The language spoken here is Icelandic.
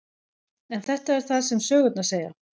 En þetta er það sem sögurnar segja.